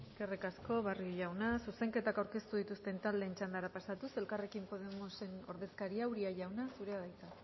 eskerrik asko barrio jauna zuzenketak aurkeztu dituzten taldeen txandara pasatuz elkarrekin podemosen ordezkaria uria jauna zurea da hitza